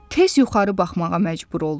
Tez yuxarı baxmağa məcbur oldu.